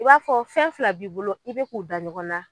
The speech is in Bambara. I b'a fɔ fɛn fila b'i bolo i bɛ k'u da ɲɔgɔn na.